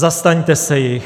Zastaňte se jich.